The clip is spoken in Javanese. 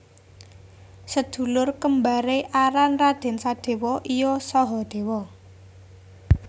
Sedulur kembare aran Raden Sadewa iya Sahadewa